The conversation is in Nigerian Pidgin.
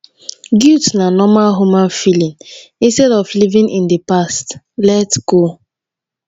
guilt na normal human feelings instead of living in di past let go